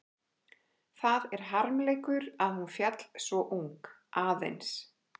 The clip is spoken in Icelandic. Það er harmleikur að hún féll svo ung, aðeins